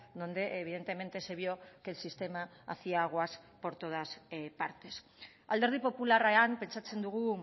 donde evidentemente se vio que el sistema hacía aguas por todas partes alderdi popularrean pentsatzen dugu